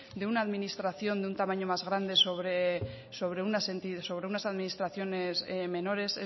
de una administración de un tamaño más grande sobre unas administraciones menores